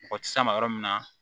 Mɔgɔ tɛ s'a ma yɔrɔ min na